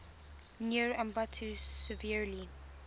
near ambato severely